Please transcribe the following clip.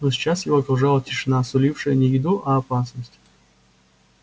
но сейчас его окружала тишина сулившая не еду а опасность